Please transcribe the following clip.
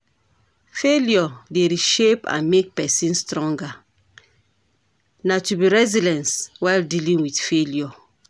Failure dey reshape and make pesin stronger, na to be resilience while dealing with failure.